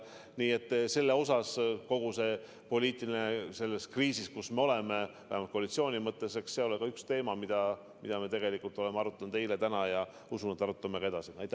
Nii et eks kogu selles poliitilises kriisis, kus me oleme – vähemalt koalitsiooni mõttes –, ole see ka üks teema, mida me tegelikult oleme arutanud eile ja täna ja usun, et arutame ka edaspidi.